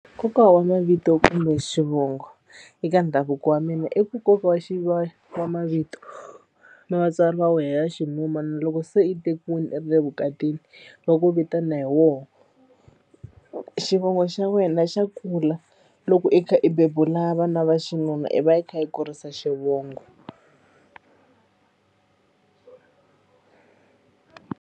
Nkoka wa mavito kumbe xivongo eka ndhavuko wa mina i ku nkoka wa wa mavito ma vatswari va wena ya loko se i tekiwile i ri le vukatini va ku vitana hi woho xivongo xa wena xa kula loko i kha i bebula vana va xinuna i va i kha i kurisa xivongo.